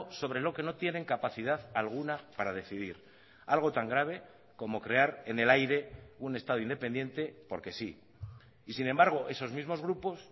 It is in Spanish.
sobre lo que no tienen capacidad alguna para decidir algo tan grave como crear en el aire un estado independiente porque sí y sin embargo esos mismos grupos